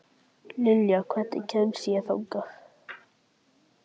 Liljar, hvernig kemst ég þangað?